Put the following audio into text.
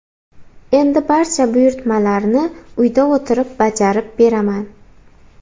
Endi barcha buyurtmalarni uyda o‘tirib bajarib beraman.